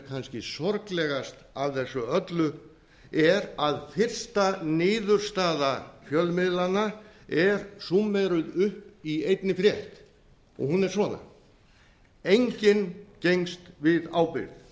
kannski sorglegast af þessu öllu er að fyrsta niðurstaða fjölmiðlanna er súmmeruð upp í einni frétt og hún er svona enginn gengst við ábyrgð